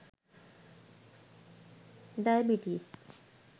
diabetes